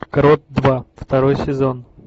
крот два второй сезон